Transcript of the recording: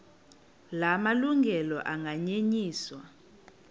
la malungelo anganyenyiswa